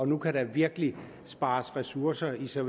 nu kan der virkelig spares ressourcer hos især